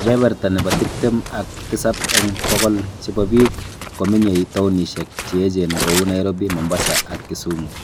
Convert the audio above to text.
Kebeberta nebo tiptem ak tisab eng bokol chebo biik kominyei townnishek che echeen kou Nairobi ,Mombasa ak Kisumu